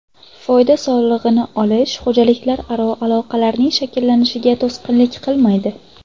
Foyda solig‘ini solish xo‘jaliklararo aloqalarning shakllanishiga to‘sqinlik qilmaydi.